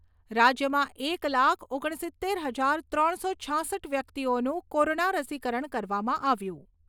રાજ્યમાં એક લાખ, ઓગણ સિત્તેર હજાર, ત્રણસો છાસઠ વ્યક્તિઓનું કોરોના રસીકરણ કરવામાં આવ્યું